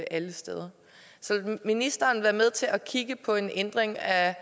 alle steder så vil ministeren være med til at kigge på en ændring af